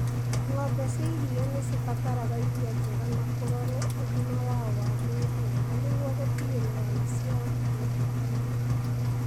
Ng'ombe cia iria nĩ cibataraga irio njega na kũrora ũgima wao wa mwĩrĩ wega nĩguo gũtigĩrĩra nĩ ciaruta iria wega.